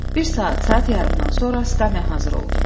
Bir saat, saat yarımdan sonra skamya hazır oldu.